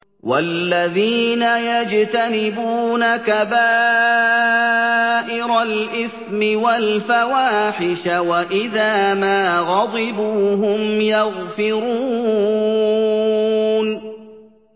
وَالَّذِينَ يَجْتَنِبُونَ كَبَائِرَ الْإِثْمِ وَالْفَوَاحِشَ وَإِذَا مَا غَضِبُوا هُمْ يَغْفِرُونَ